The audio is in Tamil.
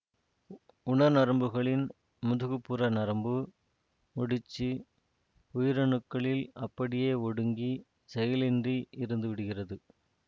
உணர் நரம்புகளின் முதுகு புற நரம்பு முடிச்சு உயிரணுக்களில் அப்படியே ஒடுங்கி செயலின்றி இருந்துவிடுகிறது